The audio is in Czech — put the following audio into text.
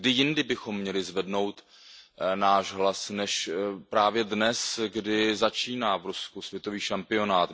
Kdy jindy bychom měli zvednout náš hlas než právě dnes, kdy začíná v Rusku světový šampionát.